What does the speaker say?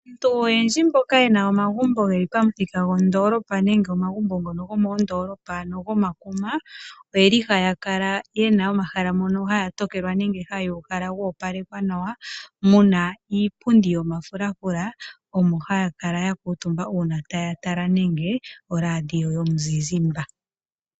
Aantu oyendji mboka ye na omagumbo geli pamuthika gwandoolopa nenge omagumbo ngono gomoondoolopa ano gomakuma, ohaya kala ye na omahala mono haya tokelwa nenge haya uhala ga opalekwa nawa mu na iipundi yomafulafula omo haya kala ya kuutumba uuna taya tala nenge oradio yomuzizimba.